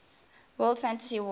world fantasy award